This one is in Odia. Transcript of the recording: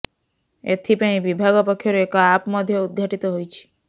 ଏଥିପାଇଁ ବିଭାଗ ପକ୍ଷରୁ ଏକ ଆପ୍ ମଧ୍ୟ ଉଦ୍ଘାଟିତ ହୋଇଛି